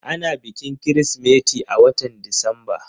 Ana bikin Kirsimeti a watan Disamba.